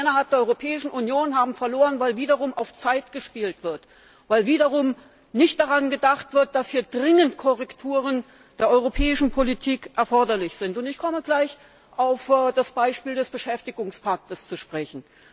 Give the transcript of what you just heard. Menschen innerhalb der Europäischen Union haben verloren, weil wieder auf Zeit gespielt wird, weil wieder nicht daran gedacht wird, dass dringend Korrekturen der europäischen Politik erforderlich sind. Ich komme gleich auf das Beispiel des Beschäftigungspakts zu sprechen.